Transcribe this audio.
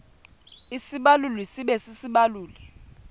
isibaluli sibe sisibaluli